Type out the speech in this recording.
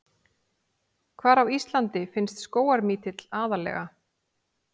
Hvar á Íslandi finnst skógarmítill aðallega?